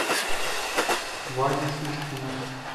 вадю шишкина